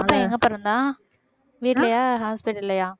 பாப்பா எங்க பொறந்தா வீட்லயா hospital ல்லயா